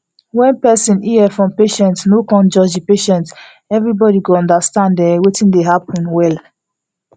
wen person ear from patient no cun judge the patient everybody go understand en wetin dey happen well